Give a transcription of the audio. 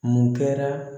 Mun kɛra